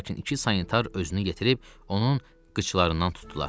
lakin iki sanitar özünü yetirib onun qıçlarından tutdular.